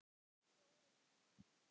Jórunn og Hafdís.